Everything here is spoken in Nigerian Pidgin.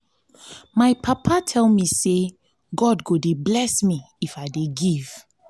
my papa tell me say god go dey bless me if i dey give